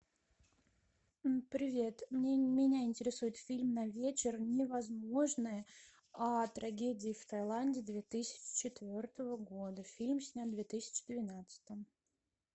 привет меня интересует фильм на вечер невозможное о трагедии в тайланде две тысячи четвертого года фильм снят в две тысячи двенадцатом